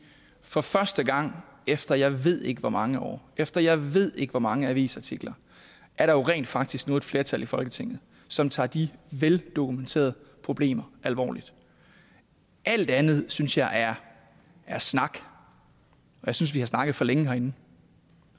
for første gang efter jeg ved ikke hvor mange år efter jeg ved ikke hvor mange avisartikler er der jo rent faktisk nu et flertal i folketinget som tager de veldokumenterede problemer alvorligt alt andet synes jeg er er snak jeg synes vi har snakket for længe herinde